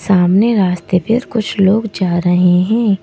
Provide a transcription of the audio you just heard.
सामने रास्ते पे कुछ लोग जा रहे हैं।